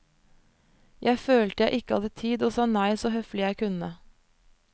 Jeg følte jeg ikke hadde tid og sa nei så høflig jeg kunne.